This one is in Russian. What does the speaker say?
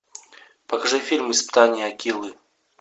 покажи фильм испытание акилы